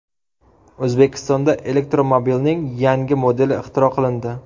O‘zbekistonda elektromobilning yangi modeli ixtiro qilindi.